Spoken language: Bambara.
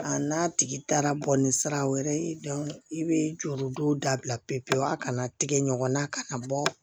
A n'a tigi taara bɔnni sira wɛrɛ ye i bɛ juru don dabila pewu pewu a kana tigɛ ɲɔgɔn na kana bɔ